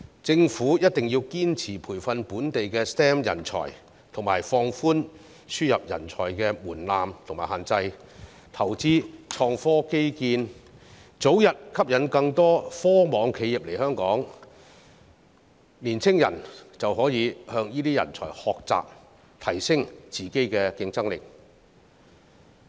政府一定要堅持培訓本地的 STEM 人才，放寬輸入人才的門檻和限制，投資創科基建，早日吸引更多科網企業來港，青年人就可以向這些人才學習，提升自己的競爭力。